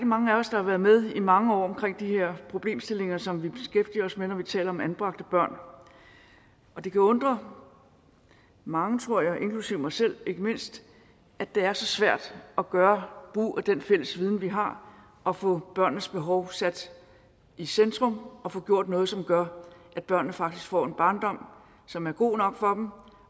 mange af os der har været med i mange år omkring de her problemstillinger som vi beskæftiger os med når vi taler om anbragte børn og det kan undre mange tror jeg inklusive mig selv ikke mindst at det er så svært at gøre brug af den fælles viden vi har og få børnenes behov sat i centrum og få gjort noget som gør at børnene faktisk får en barndom som er god nok for